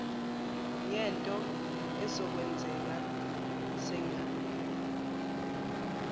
ngento ezokwenzeka sengihambile